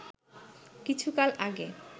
কিছুকাল আগে